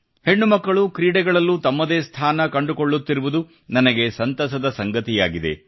ಹೆಣ್ಣುಮಕ್ಕಳು ಕ್ರೀಡೆಗಳಲ್ಲೂ ತಮ್ಮದೇ ಸ್ಥಾನ ಕಂಡುಕೊಳ್ಳುತ್ತಿರುವುದು ನನಗೆ ಸಂತಸದ ಸಂಗತಿಯಾಗಿದೆ